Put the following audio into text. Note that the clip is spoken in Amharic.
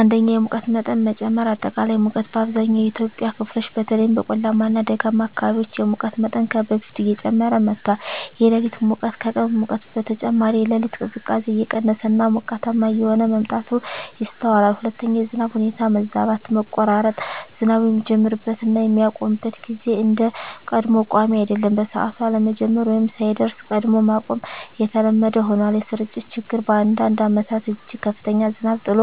1)የሙቀት መጠን መጨመር >>አጠቃላይ ሙቀት: በአብዛኛው የኢትዮጵያ ክፍሎች (በተለይም በቆላማ እና ደጋማ አካባቢዎች) የሙቀት መጠን ከበፊቱ እየጨመረ መጥቷል። >>የሌሊት ሙቀት: ከቀን ሙቀት በተጨማሪ፣ የሌሊት ቅዝቃዜ እየቀነሰ እና ሞቃታማ እየሆነ መምጣቱ ይስተዋላል። 2)የዝናብ ሁኔታ መዛባት >>መቆራረጥ: ዝናቡ የሚጀምርበት እና የሚያቆምበት ጊዜ እንደ ቀድሞው ቋሚ አይደለም። በሰዓቱ አለመጀመር ወይም ሳይደርስ ቀድሞ ማቆም የተለመደ ሆኗል። >>የስርጭት ችግር: በአንዳንድ ዓመታት እጅግ ከፍተኛ ዝናብ ጥሎ